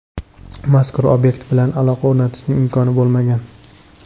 Mazkur obyekt bilan aloqa o‘rnatishning imkoni bo‘lmagan.